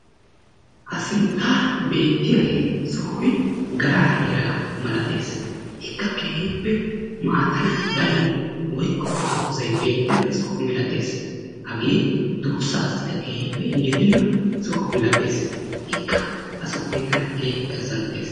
Ha sinttara beetiyage sohoy garaa heeraa malates. Ikka keehippe maataay darin woykko dozay beetena soho milates. Hagee duussasika keehippe injjetena soho milates. Ikka ha sohoy tana keehippe azanttees.